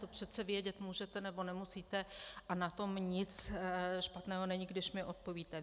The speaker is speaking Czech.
To přece vědět můžete, nebo nemusíte a na tom nic špatného není, když mi odpovíte.